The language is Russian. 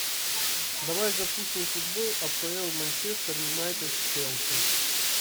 давай запустим футбол апл манчестер юнайтед с челси